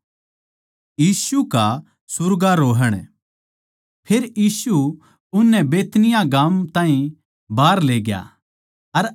फेर यीशु उननै बैतनिय्याह गाम ताहीं बाहर लेग्या अर अपणे हाथ ठाके उन ताहीं आशीर्वाद दिया